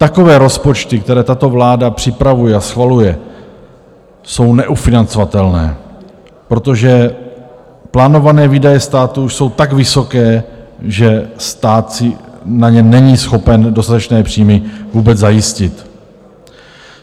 Takové rozpočty, které tato vláda připravuje a schvaluje, jsou neufinancovatelné, protože plánované výdaje státu už jsou tak vysoké, že stát si na ně není schopen dostatečné příjmy vůbec zajistit.